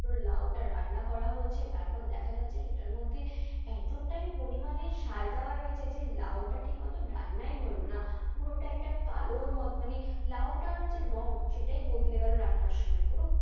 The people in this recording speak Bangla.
ধরো লাউটা রান্না করা হচ্ছে তারপর দেখা যাচ্ছে সেটার মধ্যে এতটাই পরিমাণে সার দেওয়া রয়েছে যে লাউটা ঠিকমত রান্নাই হল না, পুরোটা একটা কালো মানে লাউটার যে রঙ সেটাই বদলে গেল রান্নার সময়। পুরো,